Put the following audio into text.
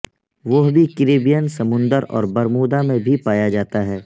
وہ بھی کیریبین سمندر اور برمودا میں بھی پایا جاتا ہے